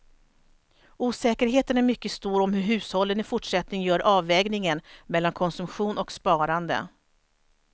Osäkerheten är mycket stor om hur hushållen i fortsättningen gör avvägningen mellan konsumtion och sparande.